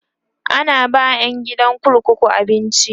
ana ba ƴan gidan kurkuku abinci